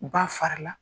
U ba fara la